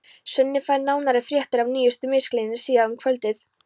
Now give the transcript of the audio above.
Svenni fær nánari fréttir af nýjustu misklíðinni síðar um kvöldið.